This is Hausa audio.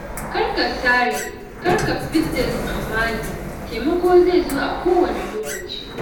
Kar ka sare, kar ka fidda tsammani taimako zai zo a kowanne lokaci.